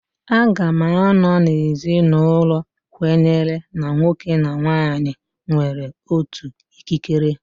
Aga m anọ na ezinụlọ kwenyere na nwoke na nwaanyị nwere otu ikikere.